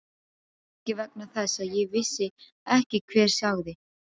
Kannski vegna þess að ég vissi ekki hver sagði.